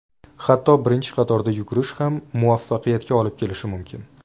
Hatto birinchi qatorda yugurish ham muvaffaqiyat olib kelishi mumkin.